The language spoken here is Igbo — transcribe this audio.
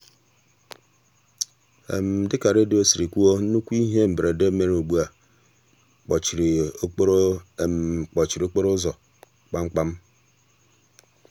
dịka redio siri kwuo nnukwu ihe mberede mere ugbua kpọchiri okporo kpọchiri okporo ụzọ kpamkpam.